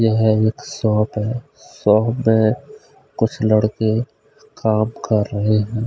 यह एक शॉप है शॉप में कुछ लड़के काम कर रहे हैं।